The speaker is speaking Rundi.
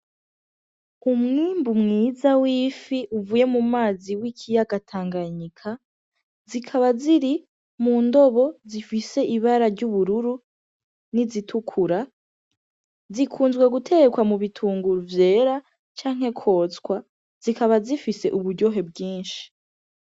Umwimbu mwiza w'ifi uvuye mu mazi w'ikiyaga tanganyika zikaba ziri mu ndobo zifise ibara ry'ubururu, n'izitukura zikunzwe gutekwa mubitunguru vyera canke kwotswa zikaba zifise uburyohe bwinshi.